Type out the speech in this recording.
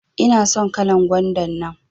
ina son kalan gwanda nan.